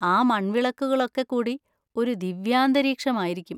ആ മൺവിളക്കുകളൊക്കെ കൂടി ഒരു ദിവ്യാന്തരീക്ഷമായിരിക്കും.